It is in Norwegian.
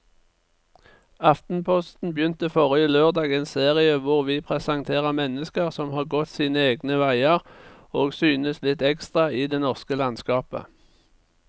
Aftenposten begynte forrige lørdag en serie hvor vi presenterer mennesker som har gått sine egne veier og synes litt ekstra i det norske landskapet.